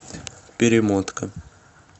перемотка